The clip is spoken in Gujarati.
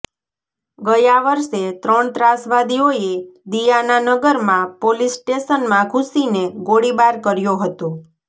ગયા વર્ષે ત્રણ ત્રાસવાદીઓએ દિયાનાનગરમાં પોલીસ સ્ટેશનમાં ઘુસીને ગોળીબાર કર્યો હતો